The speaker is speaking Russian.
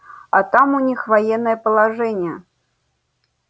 а там у них военное положение